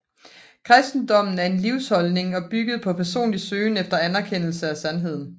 Kristendommen er en livsholdning bygget på personlig søgen efter og erkendelse af sandheden